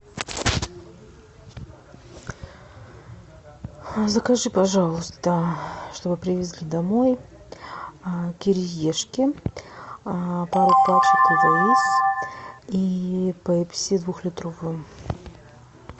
закажи пожалуйста чтобы привезли домой кириешки пару пачек лэйс и пепси двухлитровую